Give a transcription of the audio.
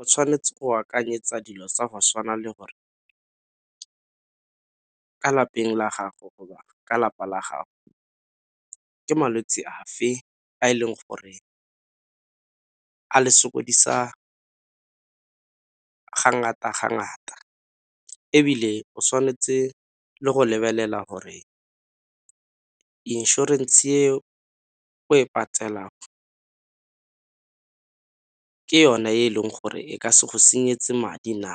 O tshwanetse go akanyetsa dilo tsa go tshwana le gore ka lapeng la gago ka lapa la gago ke malwetse afe a e leng gore a le sokodisa ga ngata ga ngata. Ebile o tshwanetse le go lebelela gore inšorense e o e patelang ke yone e leng gore e ka se go senyetse madi na,